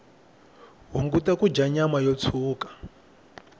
hunguta kudya nyama yo tshuka